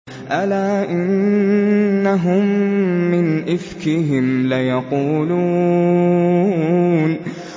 أَلَا إِنَّهُم مِّنْ إِفْكِهِمْ لَيَقُولُونَ